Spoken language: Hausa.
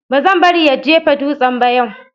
Ba zan bari ya jefa dutsen ba yau.